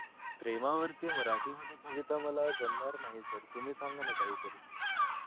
प्रेमावरती मराठी मध्ये कविता मला जमणार नाही sir तुम्ही सांगा ना काही तरी